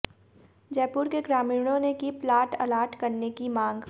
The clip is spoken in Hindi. जयपुर के ग्रामीणों ने की प्लाट अलाट करने की मांग